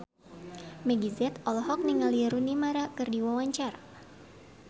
Meggie Z olohok ningali Rooney Mara keur diwawancara